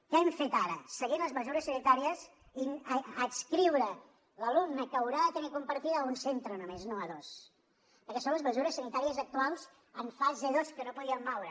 què hem fet ara seguint les mesures sanitàries adscriure l’alumne que haurà de tenir la compartida a un centre només no a dos perquè són les mesures sanitàries actuals en fase dos que no podíem moure